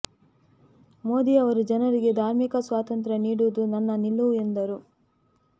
ಮೋದಿ ಅವರು ಜನರಿಗೆ ಧಾರ್ಮಿಕ ಸ್ವಾತಂತ್ರ್ಯ ನೀಡುವುದು ನನ್ನ ನಿಲುವು ಎಂದರು